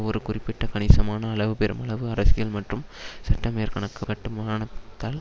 ஒரு குறிப்பிட்ட கணிசமான அளவு பெருமளவு அரசியல் மற்றும் சட்ட மேற்கணக் கட்டுமானத்தால்